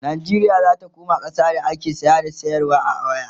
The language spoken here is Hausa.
Najeriya zata koma ƙasa da ake saya da sayarwa ne a waya